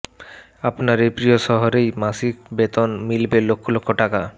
আপনার এই প্রিয় শহরেই মাসিক বেতন মিলবে লক্ষ লক্ষ টাকা